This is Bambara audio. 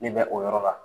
Ne bɛ o yɔrɔ la